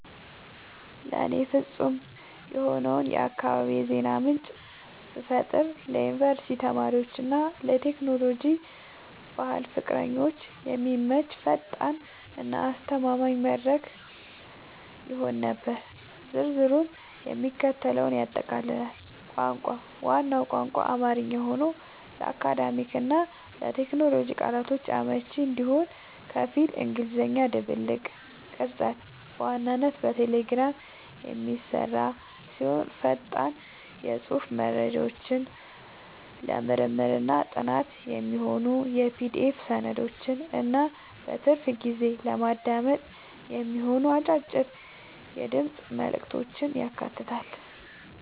ለእኔ ፍጹም የሆነውን የአካባቢ የዜና ምንጭ ብፈጥር ለዩኒቨርሲቲ ተማሪዎች እና ለቴክኖሎጂ/ባህል ፍቅረኞች የሚመች፣ ፈጣን እና አስተማማኝ መድረክ ይሆን ነበር። ዝርዝሩም የሚከተለውን ያጠቃልላል - ቋንቋ፦ ዋናው ቋንቋ አማርኛ ሆኖ፣ ለአካዳሚክ እና ለቴክኖሎጂ ቃላቶች አመቺ እንዲሆን ከፊል እንግሊዝኛ ድብልቅ። ቅርጸት፦ በዋናነት በቴሌግራም የሚሰራ ሲሆን፣ ፈጣን የጽሑፍ መረጃዎችን፣ ለምርምርና ጥናት የሚሆኑ የPDF ሰነዶችን እና በትርፍ ጊዜ ለማዳመጥ የሚሆኑ አጫጭር የድምፅ መልዕክቶችን ያካትታል።